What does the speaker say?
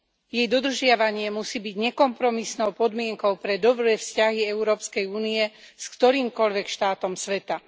Jej dodržiavanie musí byť nekompromisnou podmienkou pre dobré vzťahy Európskej Únie s ktorýmkoľvek štátom sveta.